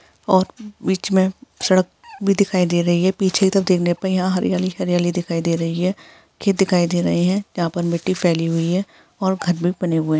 और बिच में सडक भी दिखाई दे रही है। पीछे की तरफ देखने पे यहाँ हरियाली ही हरियाली दिख रही है। खेत दिखाई दे रहे है । यहाँ पर मट्टी भी फैली हुई है। और घर भी बने हुए--